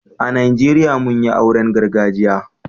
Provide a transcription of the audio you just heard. A Najeriya mun yin auren gargajiya.